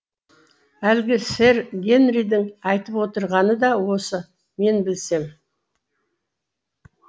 әлгі сэр генридің айтып отырғаны да осы мен білсем